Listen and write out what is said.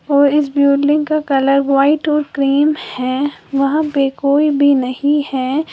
और इस बिल्डिंग का कलर व्हाइट और क्रीम है वहां पर कोई भी नहीं है।